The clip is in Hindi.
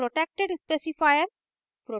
protected specifier